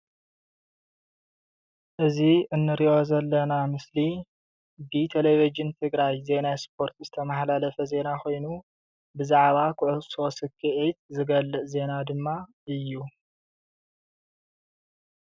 እዚ እነሪኦ ዘለና ምስሊ ቴሊቭዥን ትግራይ ዜና ስፓርት ዝተመሓላለፈ ዜና ኮይኑ ብዛዕባ ኩዕሶ ሰኪዒት ዝገልፅ ዜና ድማ እዩ፡፡